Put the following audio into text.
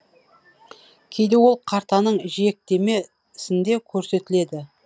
кейде ол картаның жиектеме сінде көрсетіледі